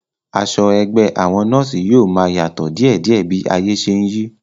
Aṣọ ẹgbẹ́ àwọn nọ́ọ̀sí yóò máa yàtọ̀ díèdíẹ̀ bí ayé ṣe n yí